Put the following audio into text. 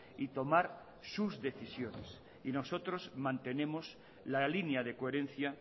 y tomar sus decisiones y nosotros mantenemos la línea de coherencia